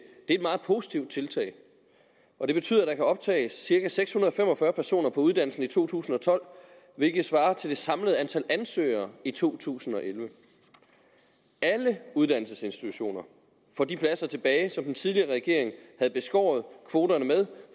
er et meget positivt tiltag og det betyder at der kan optages cirka seks hundrede og fem og fyrre personer på uddannelsen i to tusind og tolv hvilket svarer til det samlede antal ansøgere i to tusind og elleve alle uddannelsesinstitutioner får de pladser tilbage som den tidligere regering havde beskåret kvoterne med